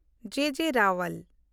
ᱡᱮ. ᱡᱮ. ᱨᱟᱣᱟᱞ